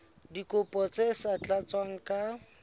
dikopo tse sa tlatswang ka